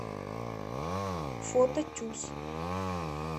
фото тюз